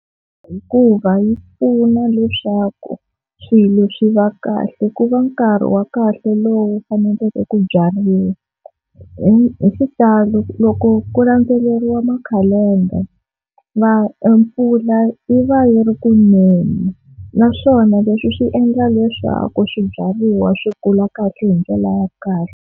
Hikuva yi pfuna leswaku swilo swi va kahle ku va nkarhi wa kahle lowu faneleke ku byariwa, hi hi xitalo loko ku ku landzeleriwa makhalendara mpfula yi va yi ri ku neni, naswona leswi swi endla leswaku swibyariwa swi kula kahle hi ndlela ya kahle.